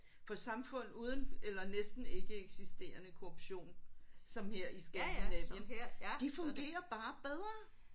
For samfund uden eller næsten ikkeeksisterende korruption som her i Skandinavien de fungerer bare bedre